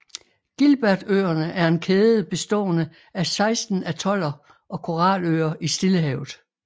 Gilbertøerne er en kæde bestående af 16 atoller og koraløer i Stillehavet